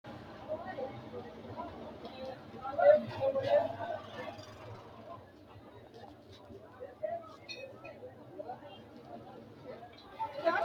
Hattono minu giddonna ollaanke jaddo abbannoricho hoolatenninna ikkado qorowo assatenni umonkenna wolootano jaddotenni gargaratenna gatisate balaxote qorowo assineemmo Hattono minu.